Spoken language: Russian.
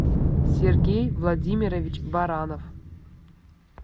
сергей владимирович баранов